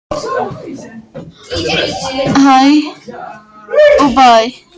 ég vissi ekki hvað ég var að gera.